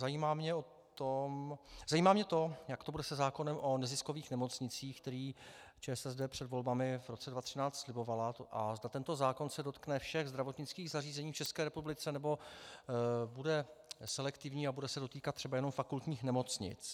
Zajímá mě to, jak to bude se zákonem o neziskových nemocnicích, který ČSSD před volbami v roce 2013 slibovala, a zda tento zákon se dotkne všech zdravotnických zařízení v České republice, nebo bude selektivní a bude se dotýkat třeba jenom fakultních nemocnic.